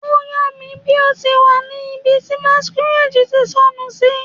O ya mi bi o ti wa ni ibi ti masquerade ti sọnu si